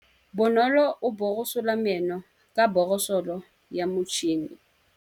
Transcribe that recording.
Bonolô o borosola meno ka borosolo ya motšhine.